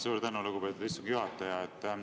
Suur tänu, lugupeetud istungi juhataja!